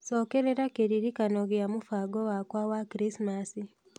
cokerera kĩririkano gĩa mũbango wakwa wa Krismasi